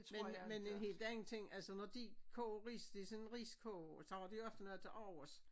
Men men en helt anden ting altså når de koger ris det sådan en riskoger så har de ofte noget til overs